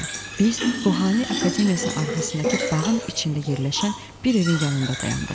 Biz Ruhani Akademiyasının arxasındakı bağın içində yerləşən bir evin yanında dayandıq.